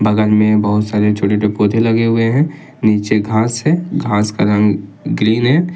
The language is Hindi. बगल में बहुत सारे छोटे छोटे पौधे लगे हुए हैं नीचे घास है घास का रंग ग्रीन है।